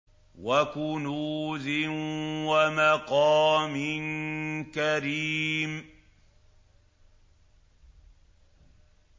وَكُنُوزٍ وَمَقَامٍ كَرِيمٍ